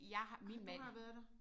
Har har du har været der?